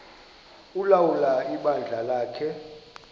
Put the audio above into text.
ulawula ibandla lakhe